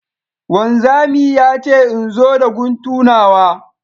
Wanzami ya ce in zo da guntu nawa